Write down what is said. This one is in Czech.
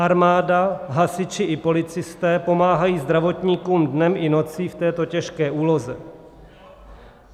Armáda, hasiči i policisté pomáhají zdravotníkům dnem i nocí v této těžké úloze.